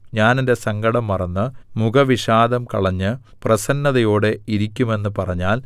ഞാൻ എന്റെ സങ്കടം മറന്ന് മുഖവിഷാദം കളഞ്ഞ് പ്രസന്നതയോടെ ഇരിക്കുമെന്നു പറഞ്ഞാൽ